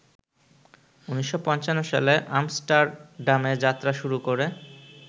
১৯৫৫ সালে আমস্টার্ডামেযাত্রা শুরু করে